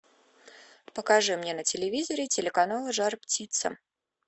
покажи мне на телевизоре телеканал жар птица